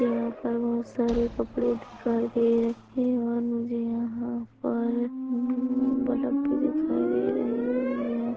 यहाँ पर बहोत सारे कपड़े दिखाई दे रहे हैं और मुझे यहाँ पर बल्ब भी दिखाई दे रहे हैं मुझे यहाँ --